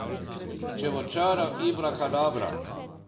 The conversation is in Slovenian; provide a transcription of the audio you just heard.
Če bo čaral Ibrakadabra.